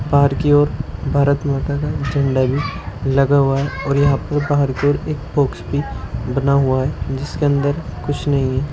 बाहर की ओर भारत माता का झंडा भी लगा हुआ है और यहाँ पर बाहर की ओर एक बॉक्स भी बना हुआ है जिसके अंदर कुछ नहीं है।